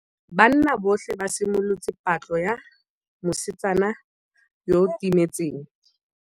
Banna botlhê ba simolotse patlô ya mosetsana yo o timetseng.